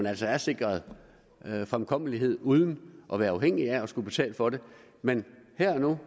altså er sikret fremkommelighed uden at være afhængige af at skulle betale for det men her og nu